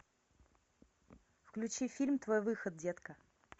включи фильм твой выход детка